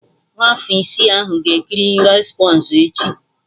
Nwa afọ isi ahụ ga-ekiri rapọnzel echi